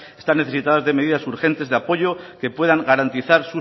están necesitadas de medidas urgentes de apoyo que puedan garantizar